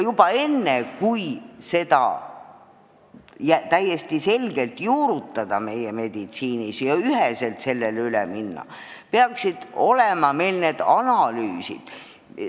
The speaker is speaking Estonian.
Enne, kui seda täiesti selgelt meie meditsiinis juurutada ja üheselt sellele üle minna, peaksid meil olema need analüüsid.